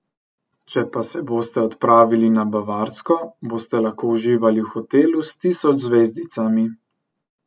Če pa se boste odpravili na Bavarsko, boste lahko uživali v hotelu s tisoč zvezdicami.